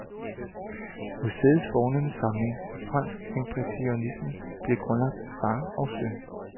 Museets fornemme samling af fransk impressionisme blev grundlagt af far og søn.